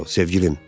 Co, sevgilim!